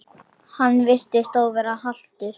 Hann virtist þó vera haltur.